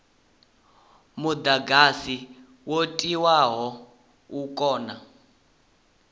mudagasi wo tiwaho u kone